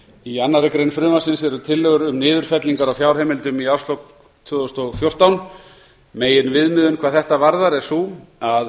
í annarri grein frumvarpsins eru tillögur um niðurfellingar á fjárheimildastöðum í árslok tvö þúsund og fjórtán meginviðmiðun hvað þetta varðar er sú að felld